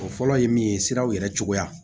O fɔlɔ ye min ye siraw yɛrɛ cogoya